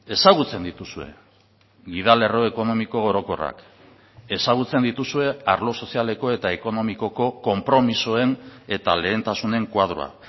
ezagutzen dituzue gida lerro ekonomiko orokorrak ezagutzen dituzue arlo sozialeko eta ekonomikoko konpromisoen eta lehentasunen koadroa